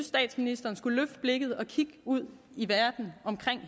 statsministeren skulle løfte blikket og kigge ud i verden omkring